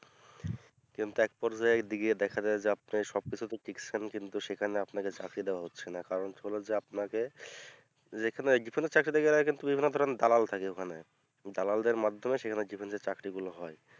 কিন্তু একপর্যায়ে একদিকে দেখা যায় যে আপনার সবকিছুতে friction কিন্তু সেখানে আপনাকে চাকরি দেওয়া হচ্ছে না কারণ হলে যে আপনাকে যেখানে difference এর চাকরিতে গেলে কিন্তু বিভিন্ন ধরণের দালাল থাকে ওখানে দালালদের মাধ্যমে সেখানে difference এর চাকরি গুলো হয়